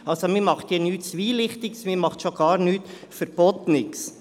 Also: Man macht hier nichts Zwielichtiges, man macht schon gar nichts Verbotenes.